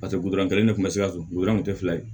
Paseke kelen ne kun ma se ka so goto kun tɛ fila ye